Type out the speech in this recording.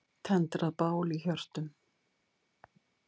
Tendrað bál í hjörtum.